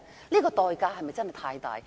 不過，代價是否太大呢？